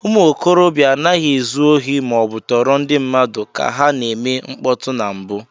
Ụmụ okorobịa anaghị ezu ohi ma ọ bụ tọọrọ ndị mmadụ ka ha na-eme mkpọtụ na mbụ.